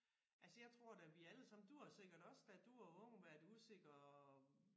Altså jeg tror da vi alle sammen du har sikkert også da du var ung været usikker